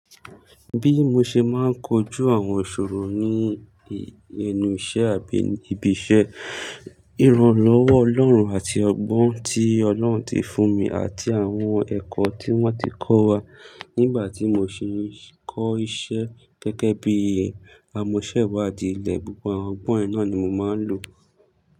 Bí mo ṣe máa ń kojú àwọn ìṣòro ní inú iṣẹ́ àbí ibi iṣẹ́, ìrànlọ́wọ́ Ọlọ́run àti ọgbọ́n tí Ọlọ́run ti fún mi àti àwọn ẹ̀kọ́ tí wọ́n ti kọ́ wa nígbà tí mo sì ń kọ́ iṣẹ́ gẹ́gẹ́ bí amọ̀ṣẹ́wàdí ilẹ̀, gbogbo àwọn ọgbọ́n náà ni mo máa ń lò.